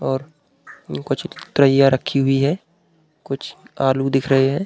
और कुछ ट्रइया रक्खी हुई हैं और कुछ आलू दिख रहे हैं।